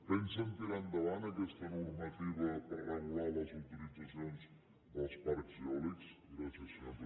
pensen tirar endavant aquesta normativa per regular les autoritzacions dels parcs eòlics gràcies senyor president